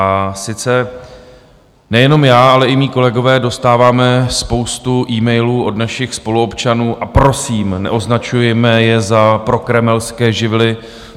A sice - nejenom já, ale i moji kolegové dostáváme spoustu emailů od našich spoluobčanů a prosím, neoznačujme je za prokremelské živly.